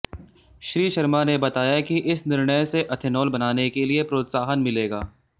श्री शर्मा ने बताया कि इस निर्णय से एथेनाल बनाने के लिये प्रोत्साहन मिलेगा